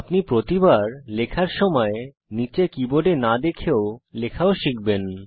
আপনি প্রতিবার লেখার সময় নীচে কীবোর্ডে না দেখে লেখাও শিখবেন